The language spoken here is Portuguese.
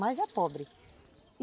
Mas é pobre.